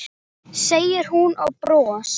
segir hún og bros